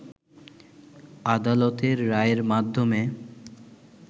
আদালতের রায়ের মাধ্যমে